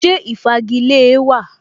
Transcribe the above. Ṣé ìfagilée wa?